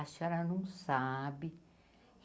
A senhora não sabe.